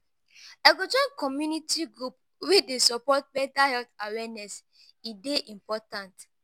i go join community group wey dey support mental health awareness; e dey important.